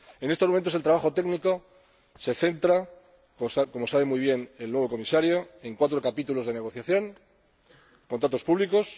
En estos momentos, el trabajo técnico se centra, como sabe muy bien el nuevo Comisario, en cuatro capítulos de negociación contratos públicos